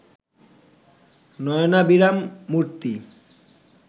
নয়নাভিরাম মূর্ত্তি